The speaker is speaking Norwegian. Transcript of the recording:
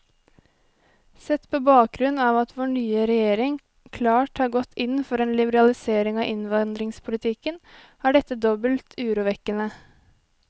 Sett på bakgrunn av at vår nye regjering klart har gått inn for en liberalisering av innvandringspolitikken, er dette dobbelt urovekkende.